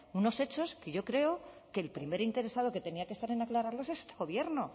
unos hechos que yo creo que el primer interesado que tenía que estar en aclararlos es este gobierno